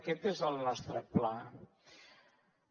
aquest és el nostre pla a